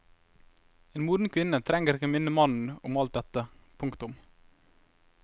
En moden kvinne trenger ikke å minne mannen om alt dette. punktum